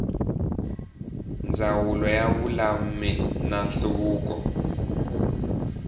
ndzawulo ya vululami na nhluvukiso